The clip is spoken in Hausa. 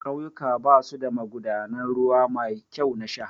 Ƙauyuka basu da magudanan ruwa mai kyau na sha